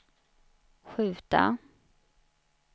skjuta